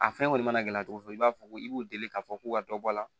A fɛn kɔni mana gɛlɛya cogo cogo i b'a fɔ ko i b'u deli k'a fɔ k'u ka dɔ bɔ a la